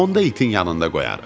Onda itin yanında qoyarıq.